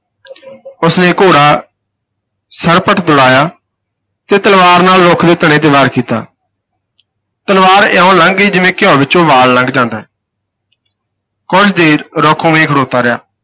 ਉਸ ਨੇ ਘੋੜਾ ਸਰਪਟ ਦੁੜਾਇਆ ਤੇ ਤਲਵਾਰ ਨਾਲ ਰੁੱਖ ਦੇ ਤਣੇ ਤੇ ਵਾਰ ਕੀਤਾ ਤਲਵਾਰ ਇਉਂ ਲੰਘ ਗਈ ਜਿਵੇਂ ਘਿਉ ਵਿਚੋਂ ਵਾਲ ਲੰਘ ਜਾਂਦਾ ਹੈ ਕੁਝ ਦੇਰ ਰੁੱਖ ਉਵੇਂ ਹੀ ਖਲੋਤਾ ਰਿਹਾ।